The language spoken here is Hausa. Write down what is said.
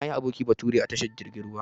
Nayi aboki bature a tashar jirgin ruwa.